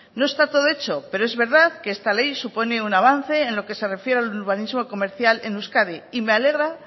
no está todo hecho pero es verdad que esta ley supone un avance en lo que se refiere al urbanismo comercial en euskadi y me alegra